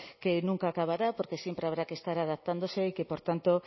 que nunca acabará porque siempre habrá que estar adaptándose y que por tanto